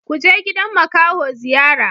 Kuje gidan makaho ziyara!